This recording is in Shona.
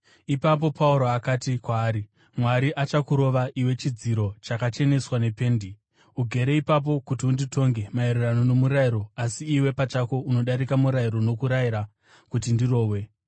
Ipapo Pauro akati kwaari, “Mwari achakurova, iwe chidziro chakacheneswa nependi! Ugere ipapo kuti unditonge maererano nomurayiro, asi iwe pachako unodarika murayiro nokurayira kuti ndirohwe!”